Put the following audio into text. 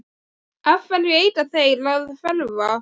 Eftir matinn legg ég diskana í bleyti og loka eldhúsdyrunum.